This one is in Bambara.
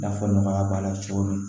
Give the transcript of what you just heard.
I n'a fɔ nɔgɔya b'a la cogo min